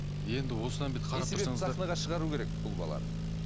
не себепті сахнаға шығару керек бұл баланы